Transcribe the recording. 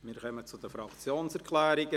Wir kommen zu den Fraktionssprechern.